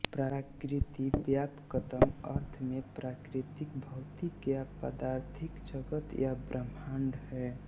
प्रकृति व्यापकतम अर्थ में प्राकृतिक भौतिक या पदार्थिक जगत या ब्रह्माण्ड हैं